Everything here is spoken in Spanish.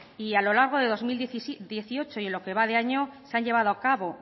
y a lo largo de dos mil dieciocho y en lo que va de año se han llevado a cabo